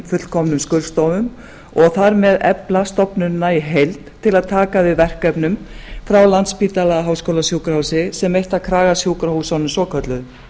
fullkomnum skurðstofum og þar með efla stofnunina í heild til að taka við verkefnum frá landspítala háskólasjúkrahúsi sem eitt af kragasjúkrahúsunum svokölluðu